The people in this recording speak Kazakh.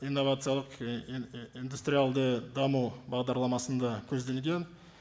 инновациялық индустриалды даму бағдарламасында көзделген